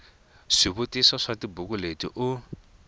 swivutiso swa tibuku leti u